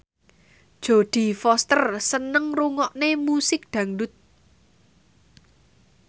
Jodie Foster seneng ngrungokne musik dangdut